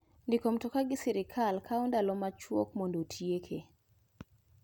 Ndiko mtoka gi sirkal kawo ndalo machwok mondo otieke.